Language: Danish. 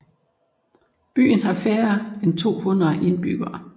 Byen har færre end tohundrede indbyggere